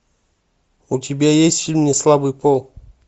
у тебя есть фильм неслабый пол